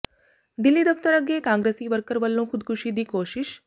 ਦਿੱਲੀ ਦਫ਼ਤਰ ਅੱਗੇ ਕਾਂਗਰਸੀ ਵਰਕਰ ਵੱਲੋਂ ਖੁਦਕੁਸ਼ੀ ਦੀ ਕੋਸ਼ਿਸ਼